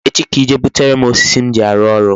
Echi ka I jee butere m osisi m ji arụ orụ.